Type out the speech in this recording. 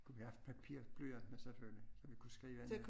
Vi haft papir og blyant med selvfølgelig så vi skrive ned